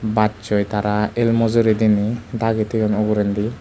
bachoi tara el mojori diney dagi thoyun ugurendi.